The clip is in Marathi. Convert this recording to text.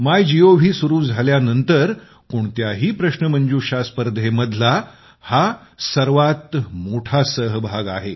मायगोव सुरु झाल्यानंतर कोणत्याही प्रश्नमंजुषा स्पर्धेमधला हा सर्वात मोठा सहभाग आहे